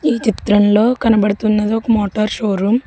ఈ చిత్రంలో కనబడుతున్నది ఒక మోటార్ షోరూమ్ .